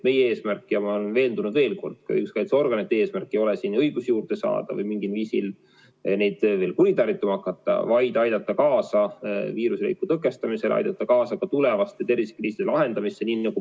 Meie eesmärk ja ma olen veendunud, ka õiguskaitseorganite eesmärk ei ole õigusi juurde saada ja mingil viisil neid ka kuritarvitama hakata, vaid aidata kaasa viiruse leviku tõkestamisele, aidata kaasa ka tulevaste tervisekriiside lahendamisele.